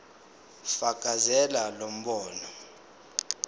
fakazela lo mbono